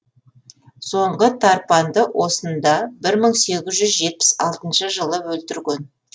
соңғы тарпанды осында бір мың сегіз жүз жетпіс алтыншы жылы өлтірген